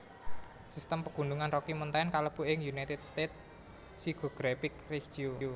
Sistem Pegunungan Rocky Mountain kalebu ing United States physiographic regio